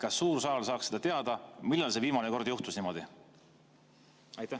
Kas suur saal saaks teada, millal viimane kord niimoodi juhtus?